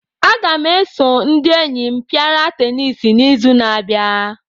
Aga m eso ndị enyi m pịara teniisi n'izu na-abịa.